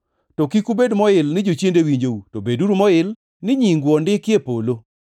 To kik ubed moil ni jochiende winjou, to beduru moil ni nyingu ondiki e polo.”